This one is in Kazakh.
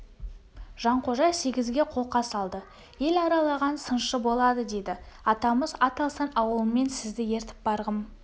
жанқожа сегізге қолқа салды ел аралаған сыншы болады дейді атамыз ат алсаң ауылыңмен сізді ертіп барғым